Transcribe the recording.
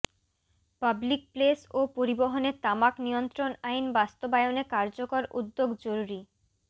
public place ও পরিবহনে তামাক নিয়ন্ত্রণ আইন বাস্তবায়নে কার্যকর উদ্যোগ জরুরি